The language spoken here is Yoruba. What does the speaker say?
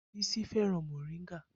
Bisi fẹ́ràn moringa